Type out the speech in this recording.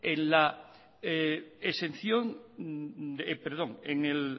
en